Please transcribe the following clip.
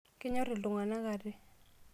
Kenyorr iltunganak ate.